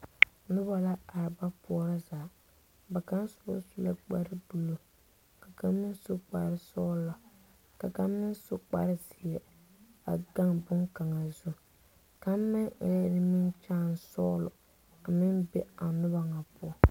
Noba la are ba poorɔ zaa ba kaŋa su la kpare buluu ka kaŋ meŋ su kpare sɔglɔ ka kaŋ meŋ su kpare zeɛ a gaŋ boŋkaŋa zu kaŋ meŋ eŋɛɛ nimikyaani sɔglɔ a meŋ be a noba ŋa poɔ.